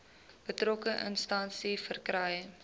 betrokke instansie verkry